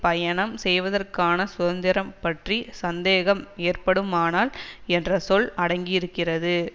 பயணம் செய்வதற்கான சுதந்திரம் பற்றி சந்தேகம் ஏற்படுமானால் என்ற சொல் அடங்கியிருக்கிறது